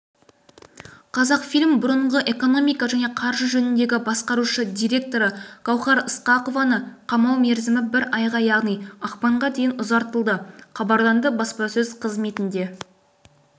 қазақфильм бұрыңғы экономика және қаржы жөніндегі басқарушы директоры гауһар ысқақованы қамау мерзімі бір айға яғни ақпанға дейін ұзартылды хабарланды баспасөз қызметінде